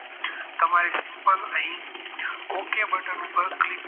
તમારી simple અહીં okay બટન ઉપર click